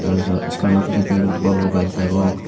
aro ja schoolano picchendi bor bor gaj degong.